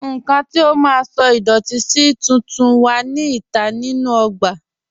Nnkàn tí à má sọ̀ idọ̀tì sí tùntún wà ní ìtà nínu ogbà